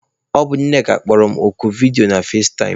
Ọ bụ Nneka kpọrọ m oku vidiyo na fazetaịm.